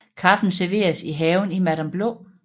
Kaffen serveres i haven i Madam Blå